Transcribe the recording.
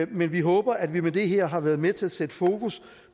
men vi håber at vi med det her har været med til at sætte fokus